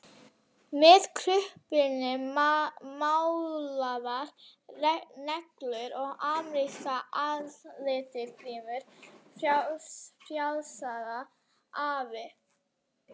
Með krullupinna, málaðar neglur og amerískar andlitsgrímur, fjasaði afi.